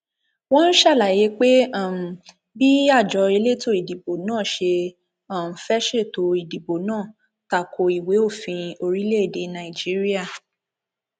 wọn ṣàlàyé pé um bí àjọ elétò ìdìbò náà ṣe um fẹẹ ṣètò ìdìbò náà ta ko ìwé òfin orílẹèdè nàìjíríà